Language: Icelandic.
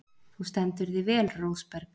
Þú stendur þig vel, Rósberg!